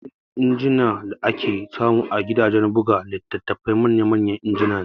Yawancin injina da ake samu a gidajen buga litattafai manya manya injina ne